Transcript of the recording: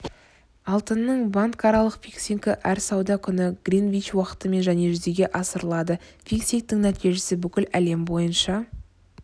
алтынның банкаралық фиксингі әр сауда күні гринвич уақытымен және жүзеге асырылады фиксингтің нәтижесі бүкіл әлем бойынша